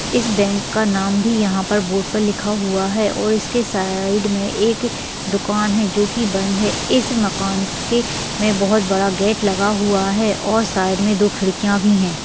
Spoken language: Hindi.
इस बैंक का नाम भी यहाँ पर बोर्ड पर लिखा हुआ और इसके साइड में एक दूकान है जो की बंद है इस मकान के में बहुत बड़ा गेट हुआ है और साइड में दो खिड़कियां भी है।